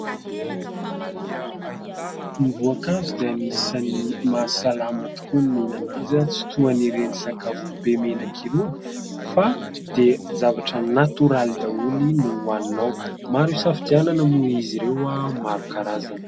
Ny voankazo dia an'isany mahasalama tokoa ny mihinana azy. Tsy tohany ireny sakafo be menaka i rony, fa dia zavatra natoraly daholy no haninao. Maro safidianana moa izy ireo maro karazana.